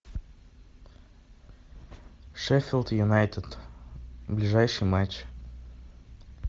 шеффилд юнайтед ближайший матч